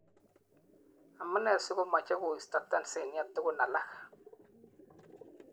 Amunee sikomeche koisto Tanzania tukun alak.